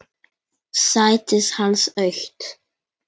Sætið hans autt.